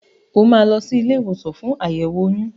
O máa lọ sí ilé ìwòsàn fún àyẹ̀wò oyún.